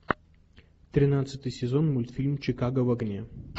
тринадцатый сезон мультфильм чикаго в огне